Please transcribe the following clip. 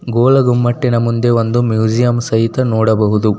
ಗೋಲ ಗುಂಬಟ್ಟೆನು ಮುಂದೆ ಒಂದು ಮೂಸೆಯಂ ಸಹಿತ ನೋಡಬಹುದು.